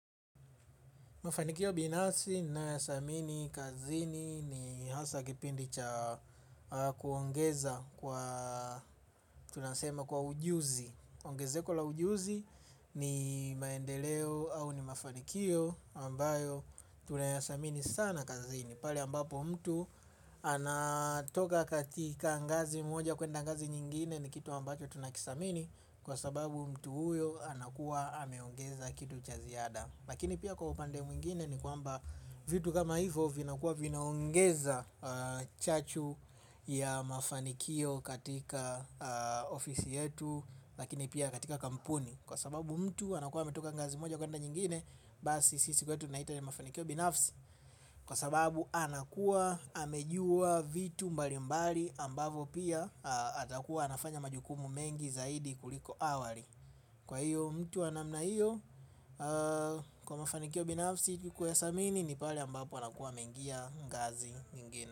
Mafanikio binafsi nayathamini kazini ni hasa kipindi cha kuongeza kwa ujuzi. Ongezeko la ujuzi ni maendeleo au ni mafanikio ambayo tunayathamini sana kazini. Pale ambapo mtu anatoka katika ngazi moja kwenda ngazi nyingine ni kitu ambacho tunakithamini kwa sababu mtu huyo anakuwa ameongeza kitu cha ziada. Lakini pia kwa upande mwingine ni kwamba vitu kama hivo vinakuwa vinaongeza chachu ya mafanikio katika ofisi yetu lakini pia katika kampuni. Kwa sababu mtu anakuwa ametoka ngazi moja kwenda nyingine basi sisi kwetu tunaita haya mafanikio binafsi. Kwa sababu anakuwa amejua vitu mbali mbali ambavo pia atakuwa anafanya majukumu mengi zaidi kuliko awali. Kwa hiyo mtu wa namna hiyo kwa mafanikio binafsi kuyathamini ni pale ambapo anakuwa ameingia ngazi nyingine.